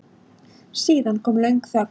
Síðan kom löng þögn.